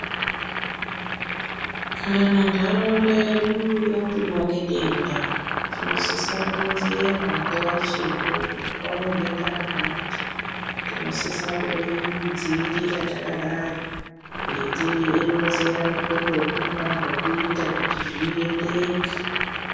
Kana ndaraunda yedu yapindwa nedenda tinosisa kuronzerwa nguwa ichipo kuti kwauya denda rakati tinosisa kuridzivirira yakadai reitironzera kuti rakaadai kuti zvikwanise kuendeke.